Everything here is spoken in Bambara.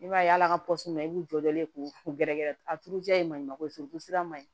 I b'a ye ala ka i b'u jɔlen k'u gɛrɛ a turu jaa ye maɲumako ye furusira man ɲi